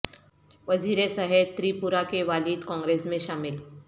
وزیر صحت تری پورہ کے والد کانگریس میں شامل